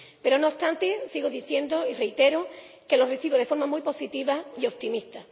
Pero, no obstante, sigo diciendo, y reitero, que lo recibo de forma muy positiva y optimista.